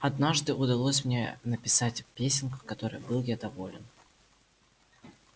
однажды удалось мне написать песенку которой был я доволен